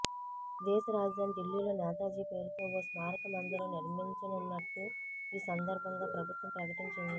దేశ రాజధాని ఢిల్లీలో నేతాజీ పేరుతో ఓ స్మారక మందిరం నిర్మించనున్నట్టు ఈ సందర్భంగా ప్రభుత్వం ప్రకటించింది